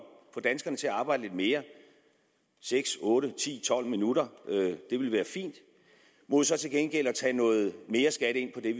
få danskerne til at arbejde lidt mere seks otte ti tolv minutter det ville være fint mod så til gengæld at tage noget mere skat ind på det